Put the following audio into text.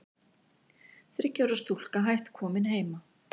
Þriggja ára stúlka hætt komin heima